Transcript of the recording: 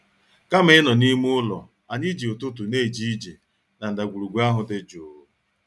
Kama ịnọ n'ime ụlọ, anyị ji ụtụtụ na-eje ije na ndagwurugwu ahụ dị jụụ.